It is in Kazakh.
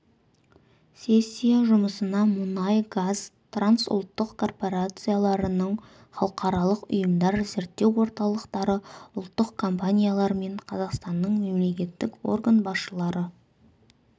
сессия жұмысына мұнай-газ трансұлттық корпорацияларының халықаралық ұйымдар зерттеу орталықтары ұлттық компаниялар мен қазақстанның мемлекеттік орган басшылары